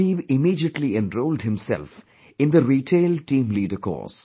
Rakib immediately enrolled himself in the Retail Team Leader course